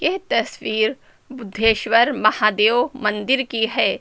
ये तस्वीर बुद्धेश्वर महादेव मंदिर की है।